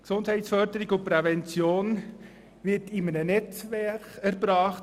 Gesundheitsförderung und Prävention wird hier bei uns in einem Netzwerk erbracht.